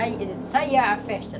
Aí saía a festa.